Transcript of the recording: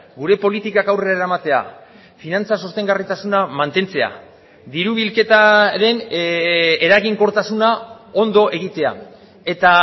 gure politikak aurrera eramatea finantza sostengarritasuna mantentzea diru bilketaren eraginkortasuna ondo egitea eta